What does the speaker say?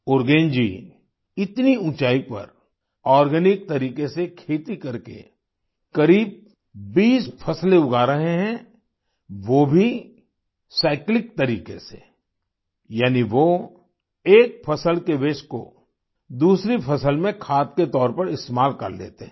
उरगेन जी इतनी ऊंचाई पर आर्गेनिक तरीके से खेती करके करीब 20 फसलें उगा रहे हैं वो भी साइक्लिक तरीके से यानी वो एक फसल के वास्ते को दूसरी फसल में खाद के तौर पर इस्तेमाल कर लेते हैं